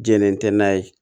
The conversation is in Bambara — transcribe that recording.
Jɛnɛ tɛ n'a ye